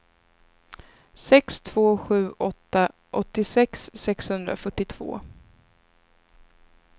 sex två sju åtta åttiosex sexhundrafyrtiotvå